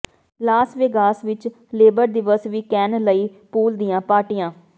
Las Vegas ਵਿਚ labour ਦਿਵਸ weekend ਲਈ ਪੂਲ ਦੀਆਂ ਪਾਰਟੀਆਂ